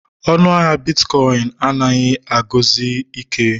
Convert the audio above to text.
Ọnụ ahịa bitkọịn anaghị eguzosi ike